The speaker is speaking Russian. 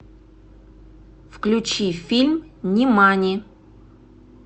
включи фильм нимани